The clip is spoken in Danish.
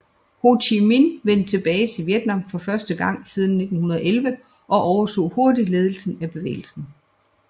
Ho Chi Minh vendte tilbage til Vietnam for første gang siden 1911 og overtog hurtigt ledelsen af bevægelsen